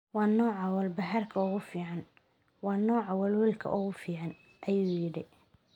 Waa nooca walbahaarka ugu fiican, waa nooca welwelka ugu fiican, ayuu yidhi.